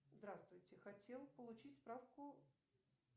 здравствуйте хотел получить справку